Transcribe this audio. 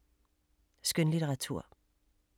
Skønlitteratur